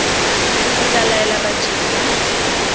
o tla laela badiri ba